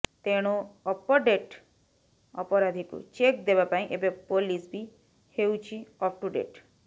ତେଣୁ ଅପଡେଟ ଅପରାଧିକୁ ଚେକ ଦେବା ପାଇଁ ଏବେ ପୋଲିସ ବି ହେଉଛି ଅପ ଟୁ ଡେଟ